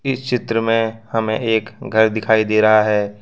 इस चित्र में हमें एक घर दिखाई दे रहा है।